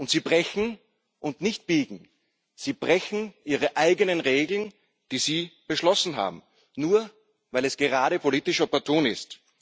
Sie brechen und nicht biegen Ihre eigenen Regeln, die Sie beschlossen haben, nur weil es gerade politisch opportun ist.